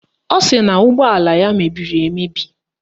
Ọ sị na ụgbọala ya mebiri emebi